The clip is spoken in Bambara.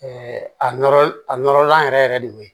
a nɔrɔ a nɔrɔ lan yɛrɛ de o ye